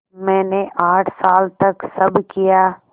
मैंने आठ साल तक सब किया